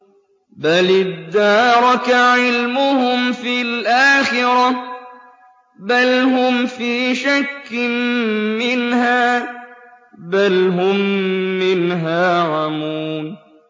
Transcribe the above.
بَلِ ادَّارَكَ عِلْمُهُمْ فِي الْآخِرَةِ ۚ بَلْ هُمْ فِي شَكٍّ مِّنْهَا ۖ بَلْ هُم مِّنْهَا عَمُونَ